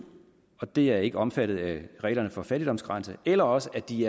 og det er ikke omfattet af reglerne for fattigdomsgrænsen eller også er de